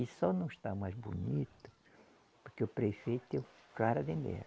E só não está mais bonito, porque o prefeito é um cara de